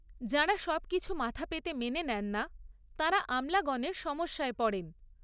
যাঁরা সবকিছু মাথা পেতে মেনে নেন না, তাঁরা আমলাগণের সমস্যায় পড়েন।